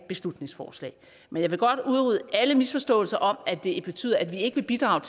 beslutningsforslag men jeg vil godt udrydde alle misforståelser om at det betyder at vi ikke vil bidrage